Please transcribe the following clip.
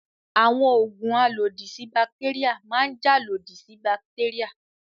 Àwọn òògùn alòdì sí bàtéríà máa ń jà lòdì sí bàtéríà.